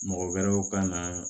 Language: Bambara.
Mɔgɔ wɛrɛw ka na